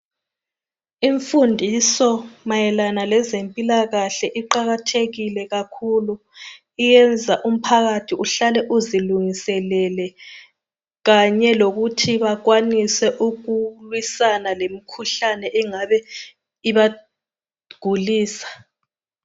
Imfundiso mayelana lezempilakahle iqakathekile kakhulu iyenza umphakathi uhlale uzilungiselele ,kanye lokuthi bakwanise , ukulwisana lemkhuhlane engabe , ibagulisa